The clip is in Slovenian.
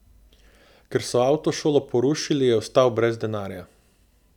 Ker so avtošolo porušili je ostal brez denarja.